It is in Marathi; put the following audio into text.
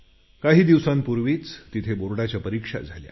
काही दिवसांपूर्वीच तिथे बोर्डाच्या परीक्षा झाल्या